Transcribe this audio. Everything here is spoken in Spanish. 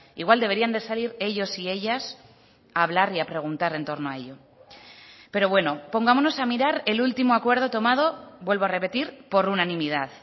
igual deberían de salir ellos y ellas a hablar y a preguntar en torno a ello pero bueno pongámonos a mirar el último acuerdo tomado vuelvo a repetir por unanimidad